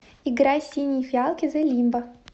играй синие фиалки зэ лимба